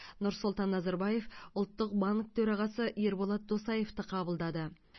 нұрсұлтан назарбаев ұлттық банк төрағасы ерболат досаевты қабылдады